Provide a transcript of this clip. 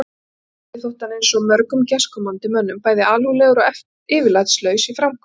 Sveini þótti hann eins og mörgum gestkomandi mönnum bæði alúðlegur og yfirlætislaus í framkomu.